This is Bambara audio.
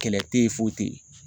Kɛlɛ te yen, foyi te yen